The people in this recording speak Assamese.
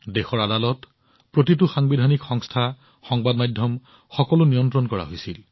দেশৰ আদালত প্ৰতিটো সাংবিধানিক সংস্থা সংবাদ মাধ্যম সকলোকে নিয়ন্ত্ৰণ কৰা হৈছিল